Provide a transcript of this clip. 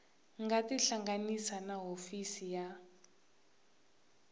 nga tihlanganisa na hofisi ya